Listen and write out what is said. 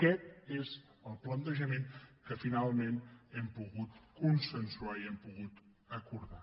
aquest és el plantejament que finalment hem pogut consensuar i hem pogut acordar